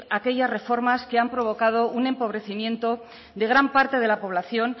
aquellas reformas que han provocado un empobrecimiento de gran parte de la población